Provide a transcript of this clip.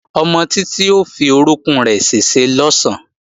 Ọmọ Títí ó fi orókún rẹ̀ ṣèṣe lọ̀sán